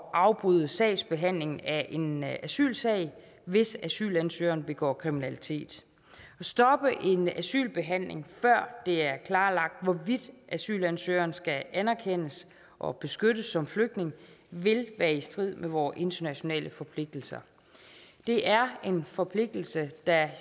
at afbryde sagsbehandlingen af en asylsag hvis asylansøgeren begår kriminalitet at stoppe en asylbehandling før det er klarlagt hvorvidt asylansøgeren skal anerkendes og beskyttes som flygtning vil være i strid med vores internationale forpligtelser det er en forpligtelse der